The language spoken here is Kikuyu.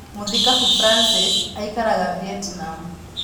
Mũthikabu Francis aikaraga Vietnam.